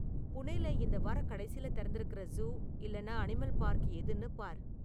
புனேல இந்த வாரக் கடைசில திறந்திருக்குற ஜூ இல்லன்னா அனிமல் பார்க் எதுன்னு பார்